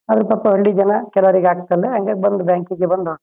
Maybe Facebook ಯಲ್ಲ ಇಟ್ಕೊಂಡು ಅಲ್ಲಿ ಕುಂತಾರ. ಯಲ್ಲ ಡಾಕ್ಯುಮೆಂಟ್ಸ್ ಯಲ್ಲ ಇಟ್ಟ್ಕೊಂಡು. ಅಂಡ್ ಅ--